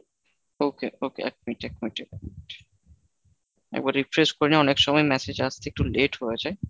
okay এক minute এক minute এক minute একবার refresh করে নিই, অনেক সময় message আসতে একটু late হয়ে যায়।